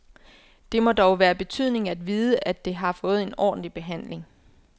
Det må dog være af betydning at vide, at det har fået en ordentlig behandling.